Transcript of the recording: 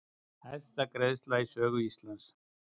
Hæsta greiðsla í sögu Íslands